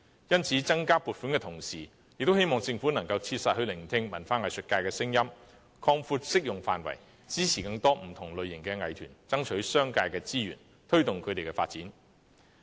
因此，增加撥款的同時，也希望政府能切實聆聽文化藝術界的聲音，擴闊適用範圍，支持更多不同類型的藝團爭取商界的資源，推動他們的發展。